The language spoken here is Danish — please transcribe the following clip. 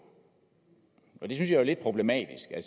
og det synes jeg er lidt problematisk